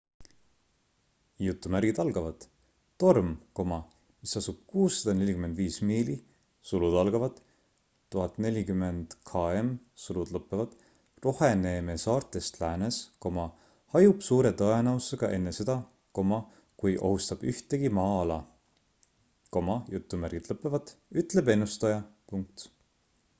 torm mis asub 645 miili 1040 km roheneemesaartest läänes hajub suure tõenäosusega enne seda kui ohustab ühtegi maa-ala,” ütleb ennustaja